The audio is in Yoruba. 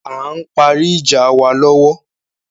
A ń parí ìjà wa lọ́wọ́